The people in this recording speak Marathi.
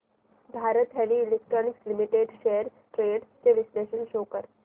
Bharat heavy electricals limited shares trends चे विश्लेषण शो कर